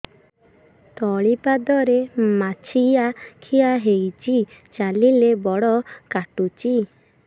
ତଳିପାଦରେ ମାଛିଆ ଖିଆ ହେଇଚି ଚାଲିଲେ ବଡ଼ କାଟୁଚି